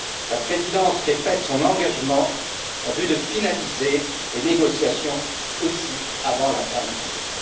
La présidence répète son engagement, en vue de finaliser aussi les négociations avant la fin de l'année.